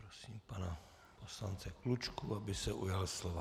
Prosím pana poslance Klučku, aby se ujal slova.